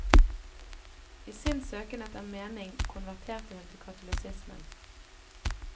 I sin søken etter mening konverterte hun til katolisismen.